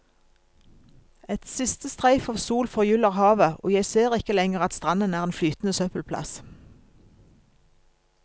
Et siste streif av sol forgyller havet, og jeg ser ikke lenger at stranden er en flytende søppelplass.